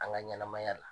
An ka ɲɛnɛmaya la